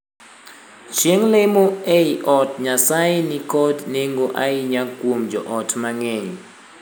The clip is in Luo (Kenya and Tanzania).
Chieng' lemo ei od Nyasaye ni kod nengo ahinya kuom joot mang'eny.